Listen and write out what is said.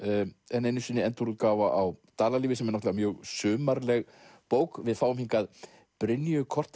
enn einu sinni endurútgáfa á Dalalífi sem er náttúrulega mjög sumarleg bók við fáum hingað Brynju